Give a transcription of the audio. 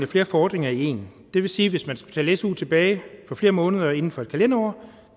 flere fordringer i én det vil sige at hvis man skal betale su tilbage for flere måneder inden for en kalenderår